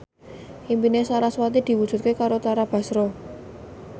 impine sarasvati diwujudke karo Tara Basro